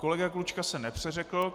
Kolega Klučka se nepřeřekl.